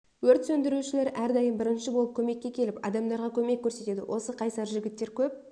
өрт сөндірушілер әр дайым бірінші болып көмекке келіп адамдарға көмек көрсетеді осы қайсар жігіттер көп